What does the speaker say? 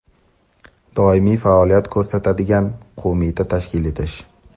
doimiy faoliyat ko‘rsatadigan qo‘mita tashkil etish;.